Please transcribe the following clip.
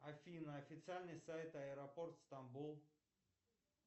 афина официальный сайт аэропорт стамбул